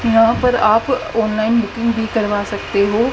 यहां पर आप ऑनलाइन बुकिंग भी करवा सकते हो।